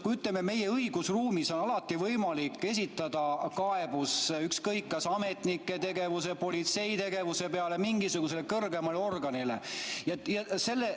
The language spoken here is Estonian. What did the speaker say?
Ütleme, meie õigusruumis on alati võimalik esitada kaebus ükskõik kas ametnike tegevuse või politsei tegevuse peale mingisugusele kõrgemale organile.